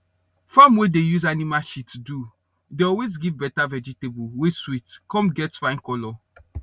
farm wey dey use animal shit do dey always give better vegetable wey sweet cum get fine colour